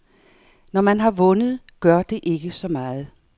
Når man har vundet, gør det ikke så meget.